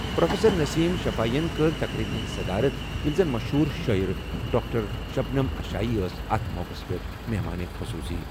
Professor Naseem Shafi ین کٔر تقریبہِ ہٕنٛز صدارت ییٚلہِ زَن مشہوٗر شٲعر ڈاکٹر شبنم اشائی ٲس اَتھ موقعَس پٮ۪ٹھ مہمان خصوصی ۔